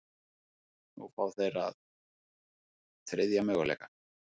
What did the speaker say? Nú fá þeir þriðja möguleikann